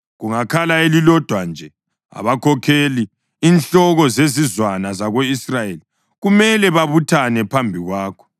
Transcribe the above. Kungakhala elilodwa nje, abakhokheli, inhloko zezizwana zako-Israyeli, kumele babuthane phambi kwakho.